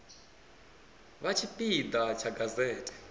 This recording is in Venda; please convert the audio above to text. vha tshipi ḓa tsha gazete